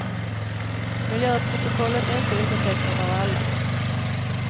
Miljöprotokollet är inte undertecknat av alla.